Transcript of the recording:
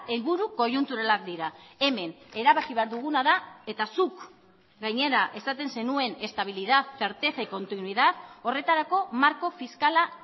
helburu koiunturalak dira hemen erabaki behar duguna da eta zuk gainera esaten zenuen estabilidad certeza y continuidad horretarako marko fiskala